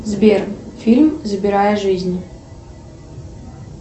сбер фильм забирая жизнь